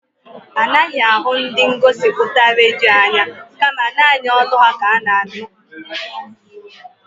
Anaghị ahụ ndị ngosipụta redio anya kama naanị olu ha ka a na-anụ.